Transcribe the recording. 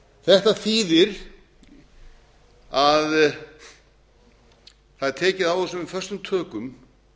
þetta þýðir að það er tekið á þessu með föstum tökum